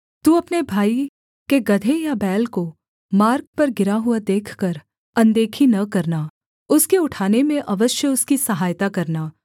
तू अपने भाई के गदहे या बैल को मार्ग पर गिरा हुआ देखकर अनदेखी न करना उसके उठाने में अवश्य उसकी सहायता करना